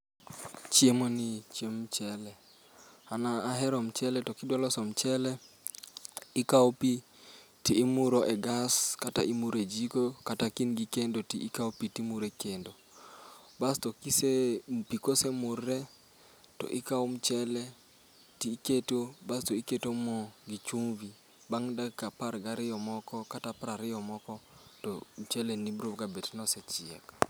Chiemoni en chiemb mchele. An ahero mchele to kidwa loso mchele, ikawo pi to imuro e gas, kata imuro e jiko kata ka in gi kendo to ikawo pi to imuro e kendo. Basto pi kose murre to ikawo mchele to iketo basto iketo mo gi chumbi. Bang' dakika apar gariyo moko kata piero ariyo moko to mchele ni biro gabet ni osechiek